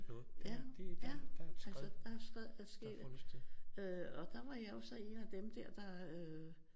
Ja ja altså der er et skred er sket øh og der var jeg jo så en af dem der øh